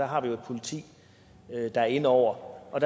har et politi der er inde over og